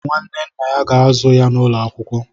Nwanne nna ya ga-azụ ya n'ụlọ akwụkwọ.